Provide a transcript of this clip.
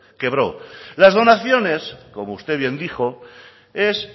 quebró las donaciones como usted bien dijo es